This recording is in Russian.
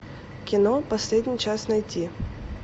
кино последний час найти